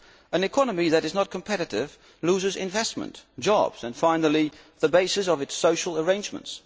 An economy that is not competitive loses investment, jobs and finally, the basis of its social arrangements.